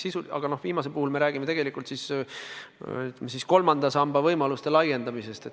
Aga viimase puhul me räägime tegelikult, ütleme, kolmanda samba võimaluste laiendamisest.